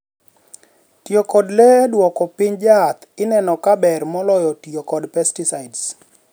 tiyo kod le eduoko piny jaath ineno kaaber moloyo tiyo kod pesticides